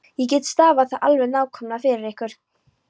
Ég get stafað það alveg nákvæmlega fyrir ykkur.